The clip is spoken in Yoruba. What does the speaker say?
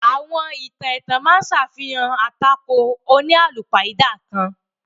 Àwọn ìtàn ètàn ma á ṣàfihàn atàkò oníalúpáidà kan.